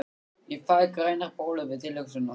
Ég fæ grænar bólur við tilhugsunina!